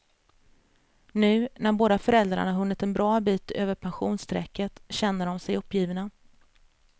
Nu, när båda föräldrarna hunnit en bra bit över pensionsstrecket, känner de sig uppgivna.